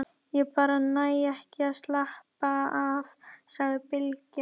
Ég bara næ ekki að slappa af, sagði Bylgja.